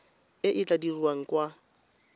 e e tla dirwang kwa